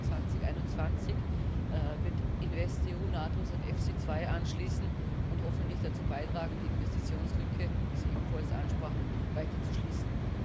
Ab 2021 wird InvestEU nahtlos an EFSI 2 anschließen und hoffentlich dazu beitragen, die Investitionslücke, die Sie ebenfalls ansprachen, weiter zu schließen.